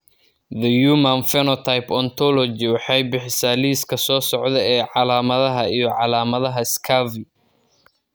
The Human Phenotype Ontology waxay bixisaa liiska soo socda ee calaamadaha iyo calaamadaha Scurvy.